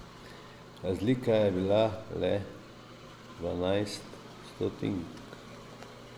Razlika je bila le dvanajst stotink.